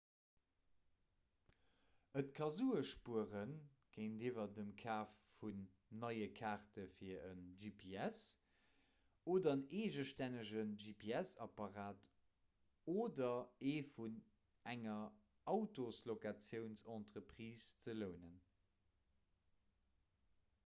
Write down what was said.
et ka sue spuere géintiwwer dem kaf vun neie kaarte fir e gps oder en eegestännege gps-apparat oder ee vun enger autoslocatiounsentreprise ze lounen